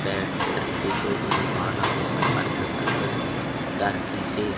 paint चड्डी जो भी बनवाना हो संपर्क कर लो दर्जी से--